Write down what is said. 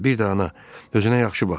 Bir də ana, özünə yaxşı bax.